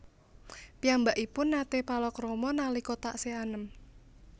Piyambakipun naté palakrama nalika taksih anem